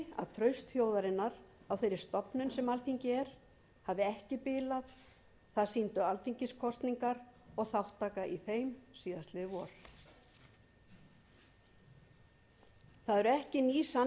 traust þjóðarinnar á þeirri stofnun sem alþingi er hafi ekki bilað það sýndu alþingiskosningar og þátttaka í þeim síðastliðið vor það eru ekki ný sannindi þó sagt sé